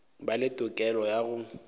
ba le tokelo ya go